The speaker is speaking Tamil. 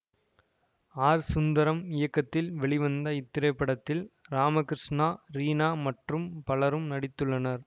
ஆர் சுந்தரம் இயக்கத்தில் வெளிவந்த இத்திரைப்படத்தில் ராமகிருஷ்ணா ரீனா மற்றும் பலரும் நடித்துள்ளனர்